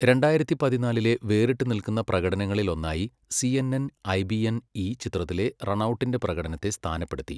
രണ്ടായിരത്തി പതിനാലിലെ വേറിട്ടുനിൽക്കുന്ന പ്രകടനങ്ങളിൽ ഒന്നായി സിഎൻഎൻ ഐബിഎൻ ഈ ചിത്രത്തിലെ റണൗട്ടിന്റെ പ്രകടനത്തെ സ്ഥാനപ്പെടുത്തി.